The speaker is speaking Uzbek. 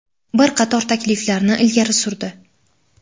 bir qator takliflarni ilgari surdi.